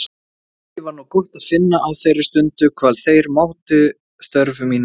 Mikið var nú gott að finna á þeirri stundu hvað þeir mátu störf mín mikils.